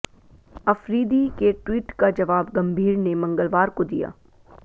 अफरीदी के ट्वीट का जवाब गंभीर ने मंगलवार को दिया